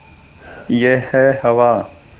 यह है हवा